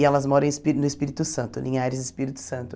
E elas moram em Espí no Espírito Santo, Linhares do Espírito Santo.